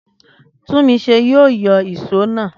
Túnmiṣe yóò yọ ìṣó naa